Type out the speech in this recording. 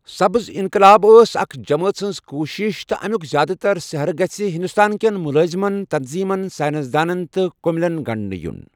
سبز انقلاب ٲس اكھ جمٲژ ہنز كوُشِش تہٕ امِیوٗك زیادٕتر سہرٕ گژھِہِ ہندٗستٲن كین مٗلٲذِمن ، تنظیمن ، ساینس دانن تہٕ كمِلین گنڈنہٕ یٗن ۔